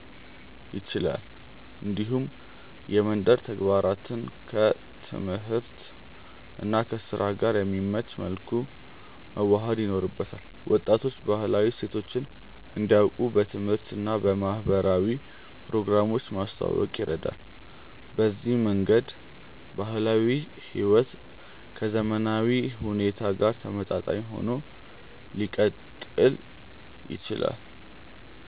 ይችላል። እንዲሁም የመንደር ተግባራትን ከትምህርት እና ከስራ ጋር በሚመች መልኩ መዋሃድ ይኖርበታል። ወጣቶች ባህላዊ እሴቶችን እንዲያውቁ በትምህርት እና በማህበራዊ ፕሮግራሞች ማስተዋወቅ ይረዳል። በዚህ መንገድ ባህላዊ ሕይወት ከዘመናዊ ሁኔታ ጋር ተመጣጣኝ ሆኖ ሊቀጥል ይችላል።